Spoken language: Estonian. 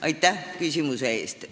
Aitäh küsimuse eest!